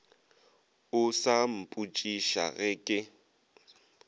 o sa mpotšiša ge ke